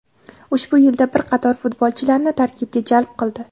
ushbu yilda bir qator futbolchilarni tarkibga jalb qildi.